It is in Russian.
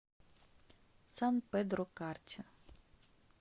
сан педро карча